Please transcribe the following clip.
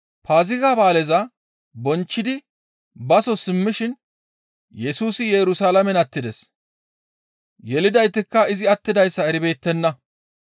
Paaziga ba7aaleza bonchchidi baso simmishin Yesusi Yerusalaamen attides. Yelidaytikka izi attiddayssa eribeettenna.